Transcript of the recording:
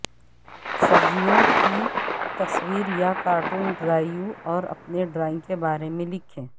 سبزیوں کی تصویر یا کارٹون ڈرائیو اور اپنے ڈرائنگ کے بارے میں لکھیں